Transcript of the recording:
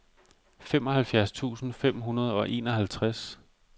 femoghalvtreds tusind fem hundrede og enoghalvtreds